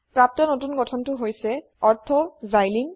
প্ৰাপ্ত নতুন গঠনটো হৈছে ortho সিলিন